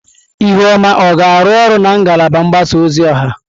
Ihuoma ọ ga-arụ ọrụ na ngalaba mgbasa ozi ọha?